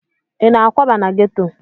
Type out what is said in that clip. Ị na-akwaba na geto?